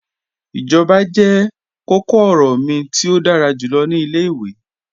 Ijọba jẹ kọ̀kọ-ọrọ mi ti o dára julọ ni ilẹ̀-iwe.